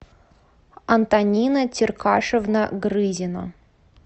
антонина теркашевна грызина